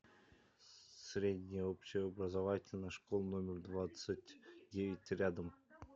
средняя общеобразовательная школа номер двадцать девять рядом